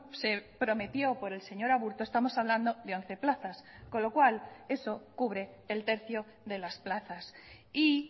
se prometió por el señor aburto estamos hablando de once plazas con lo cual eso cubre el tercio de las plazas y